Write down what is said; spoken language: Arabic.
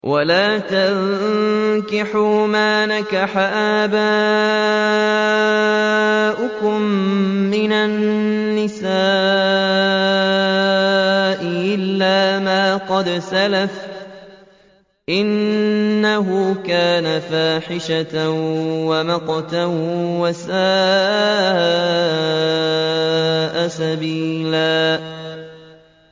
وَلَا تَنكِحُوا مَا نَكَحَ آبَاؤُكُم مِّنَ النِّسَاءِ إِلَّا مَا قَدْ سَلَفَ ۚ إِنَّهُ كَانَ فَاحِشَةً وَمَقْتًا وَسَاءَ سَبِيلًا